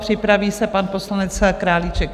Připraví se pan poslanec Králíček.